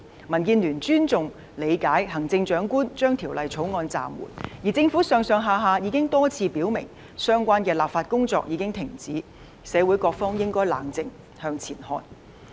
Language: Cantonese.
民建聯尊重及理解行政長官將《條例草案》的工作暫緩，而政府上下已經多次表明，相關立法工作已經停止，社會各方應該冷靜，向前看。